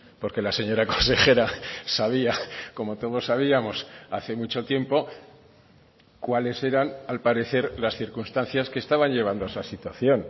porque la señora consejera sabía como todos sabíamos hace mucho tiempo cuáles eran al parecer las circunstancias que estaban llevando a esa situación